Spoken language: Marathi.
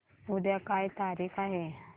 उद्या काय तारीख आहे